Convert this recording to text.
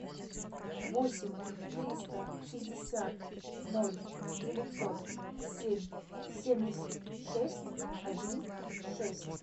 восемь триста шестьдесят ноль девятьсот семь семьдесят шесть один шесть